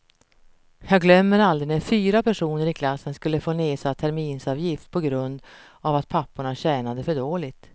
Jag glömmer aldrig när fyra personer i klassen skulle få nedsatt terminsavgift på grund av att papporna tjänade för dåligt.